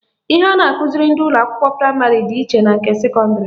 Ihe a na-akụziri ndị ụlọakwụkwọ praịmarị dị iche na nke sekọndịrị